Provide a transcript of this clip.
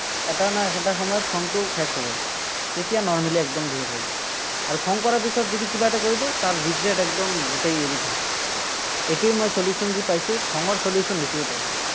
এটা নহয় এটা সময়ত খংটো শেষ হ'বই। তেতিয়া normally একদম behave হৈ যায়। আৰু খং কৰা পিছত যদি কিবা এটা কৈ দিও, তাৰ regret একদম গোটেই এৰি থাকে। এইটোৱেই মই solution যি পাইছো, খঙৰ solution এইটোৱেই পাইছো।